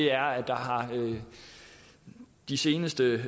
er at der de seneste